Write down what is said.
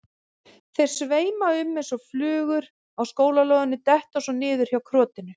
Þeir sveima um eins og flugur á skólalóðinni, detta svo niður hjá krotinu.